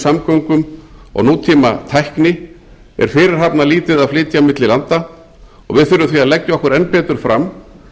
samgöngum og nútíma tækni er fyrirhafnarlítið að flytja á milli landa og við þurfum því að leggja okkur enn betur fram